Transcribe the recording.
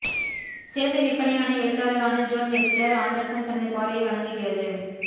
சிறந்த விற்பனையான எழுத்தாளரான ஜோன் வெஸ்டர் ஆண்டர்சன் தனது பார்வையை வழங்குகிறது